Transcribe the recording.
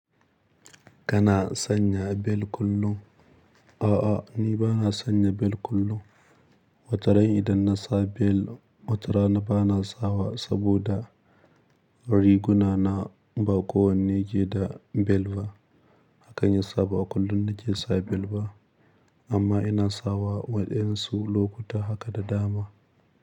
Kana sanya bel kullum? A'a, ni ba na sanya bel kullum. Wataran idan na sa bel, watara na ba na sawa saboda riguna na ba kowanne ke da bel ba. Hakan ya sa ba kullum na ke sa bel ba, amma ina sawa waɗansu lokuta haka da dama.